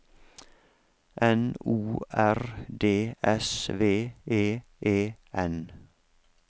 N O R D S V E E N